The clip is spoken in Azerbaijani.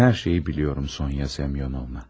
Mən hər şeyi biliyorum Sonya Semyonovna.